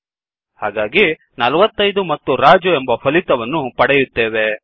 ಹಾಗಾಗಿ 45 ಮತ್ತು ರಾಜು ಎಂಬ ಫಲಿತವನ್ನು ಪಡೆಯುತ್ತೇವೆ